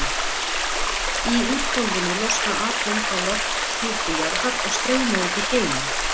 Í úthvolfinu losna atóm frá lofthjúpi jarðar og streyma út í geiminn.